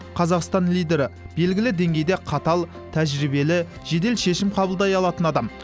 қазақстан лидері белгілі деңгейде қатал тәжірибелі жедел шешім қабылдай алатын адам